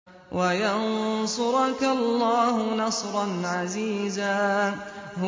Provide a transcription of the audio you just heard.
وَيَنصُرَكَ اللَّهُ نَصْرًا عَزِيزًا